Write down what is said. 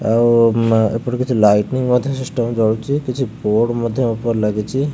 ଆଉ ଉମା ଏପଟେ କିଛି ଲାଇଟିଙ୍ଗ ମଧ୍ୟ ସିଷ୍ଟମ୍ ରେ ଜଳୁଛି କିଛି ବୋର୍ଡ଼ ମଧ୍ୟ ଉପରେ ଲାଗିଛି।